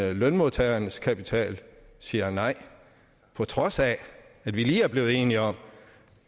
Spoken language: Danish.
af lønmodtagernes kapital siger nej på trods af at vi lige blive enige om